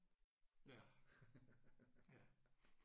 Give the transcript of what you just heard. Ja ja